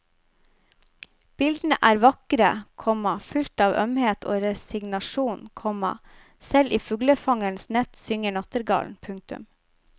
Bildene er vakre, komma fylt av ømhet og resignasjon, komma selv i fuglefangerens nett synger nattergalen. punktum